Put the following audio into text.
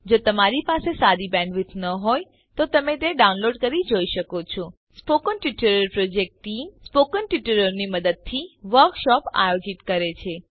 જો તમારી પાસે સારી બેન્ડવિડ્થ ન હોય તો તમે ડાઉનલોડ કરી તે જોઈ શકો છો spoken tutorial project team spoken ટ્યુટોરીયલોની મદદથી વર્કશોપ આયોજિત કરે છે